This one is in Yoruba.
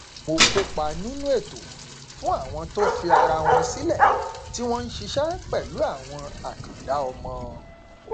mo kópa nínú ètò fún àwọn tó fi ara wọn sílẹ tí wọn n ṣiṣẹ pẹlú àwọn àkàndá ọmọ